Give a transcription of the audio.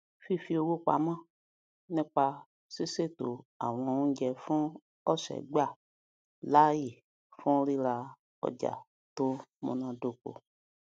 fífi owó pamọ nípa ṣíṣètò àwọn oúnjẹ fún ọsẹ gbà láàyè fún rírà ọjà tó múnádóko